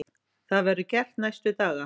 Það verður gert næstu daga.